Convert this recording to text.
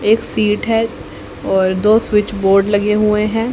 एक सीट है और दो स्विच बोर्ड लगे हुए हैं।